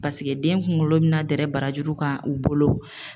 Paseke den kunkolo bɛna dɛrɛ barajuru kan u bolo.